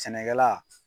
Sɛnɛkɛla